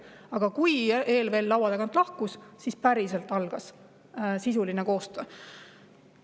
Aga kui ELVL laua tagant lahkus, siis algas päriselt sisuline koostöö.